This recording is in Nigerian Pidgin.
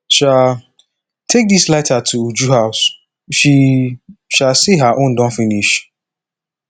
um take dis lighter to uju house she um say her own don finish